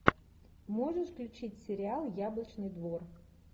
можешь включить сериал яблочный двор